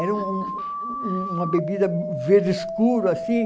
Era um um uma bebida verde escuro, assim.